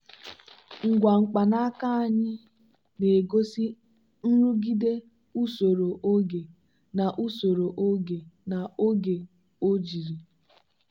ngwa mkpanaaka anyị na-egosi nrụgide usoro oge na usoro oge na oge ojiri.